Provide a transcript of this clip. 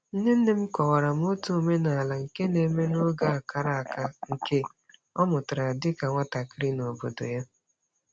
Nne nne m kọwara m otu omenala nke na-eme n'oge a kara aka, nke ọ mụtara dịka nwatakịrị n'obodo ya.